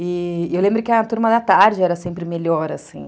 E eu lembro que a turma da tarde era sempre melhor, assim.